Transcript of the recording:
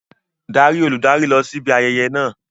Darí olùdarí láti lọ síbi ayẹyẹ náà.